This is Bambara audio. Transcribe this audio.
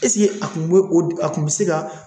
a kun be o kun bi se ka